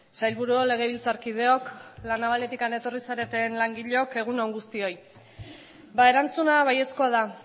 sailburuok legebiltzarkideok la navaletikan etorri zareten langileok egun on guztioi ba erantzuna baiezkoa da